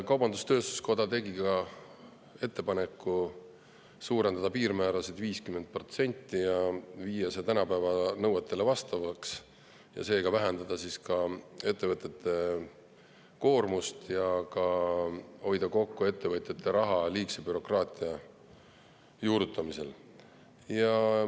Kaubandus-tööstuskoda tegi ka ettepaneku suurendada piirmäärasid 50%, viia need tänapäeva nõuetele vastavaks, seega vähendada ettevõtete koormust ja hoida kokku ettevõtjate raha, liigse bürokraatia juurutamist.